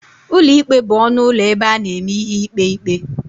Ụlọ ikpe bụ ọnụ ụlọ ebe a na-eme ihe ikpe ikpe.